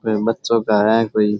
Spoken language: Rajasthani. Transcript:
कोई बच्चो का है कोई।